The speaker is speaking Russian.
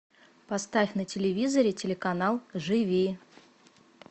поставь на телевизоре телеканал живи